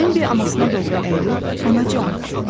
Bembi anasına doğru əyilib, anacan.